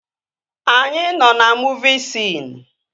Anyị nọ na muuvi siin